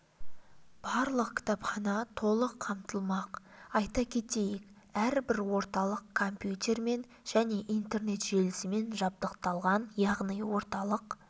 барлық кітапхана толық қамтылмақ айта кетейік әрбір орталық компьютермен және интернет желісімен жабдықталған яғни орталық